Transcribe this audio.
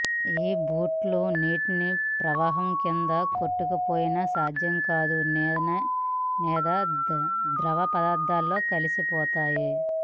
ఈ బూట్లు నీటి ప్రవాహం కింద కొట్టుకుపోయిన సాధ్యం కాదు లేదా ద్రవ పదార్థంలో కలిసిపోతాయి